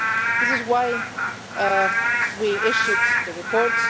This is why we issued the report.